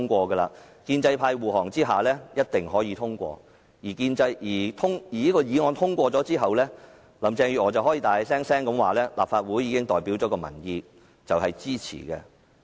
在建制派護航下，議案必定可以通過，而在這項議案通過後，林鄭月娥便可以大聲宣布代表民意的立法會支持有關安排。